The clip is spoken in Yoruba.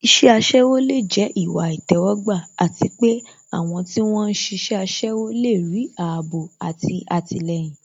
Iṣẹ́ aṣẹ́wó lè jẹ́ ìwà ìtẹ́wọ́gbà àti pé àwọn tí wón ń ṣiṣẹ́ aṣẹ́wó lè rí ààbò àti àtìlẹyìn